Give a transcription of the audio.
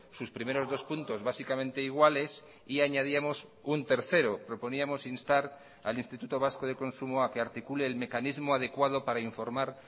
sus primeros dos puntos básicamente iguales y añadíamos un tercero proponíamos instar al instituto vasco de consumo a que articule el mecanismo adecuado para informar